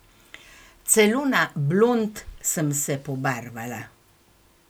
Celo na blond sem se pobarvala!